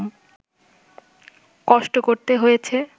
কষ্ট করতে হয়েছে